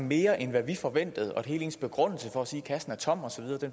mere end hvad vi forventede og at hele begrundelsen for at sige at kassen er tom osv